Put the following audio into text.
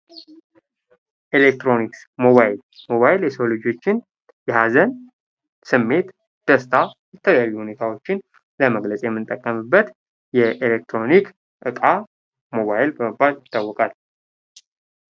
ኤሌክትሮኒክስ ሞባይል:-ሞባይል የሰው ልጆችን የሀዘን ስሜት ደስታን የተለያዩ ሁኔታዎችን ለመግለፅ የምንጠቀምበት የኤሌክትሮኒክስ እቃ ሞባይል በመባል ይታወቃል።